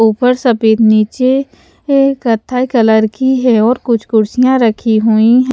ऊपर सफेद नीचे ए कथा कलर की है और कुछ कुर्सियां रखी हुई हैं।